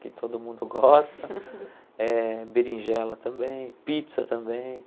que todo mundo gosta, eh berinjela também, pizza também.